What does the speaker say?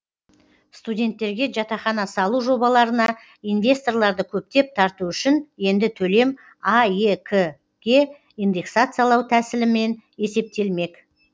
студенттерге жатақхана салу жобаларына инвесторларды көптеп тарту үшін енді төлем аек ке индексациялау тәсілімен есептелмек